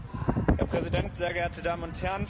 Herr Präsident, sehr geehrte Damen und Herren!